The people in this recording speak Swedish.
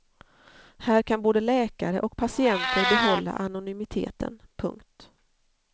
Här kan både läkare och patienter behålla anonymiteten. punkt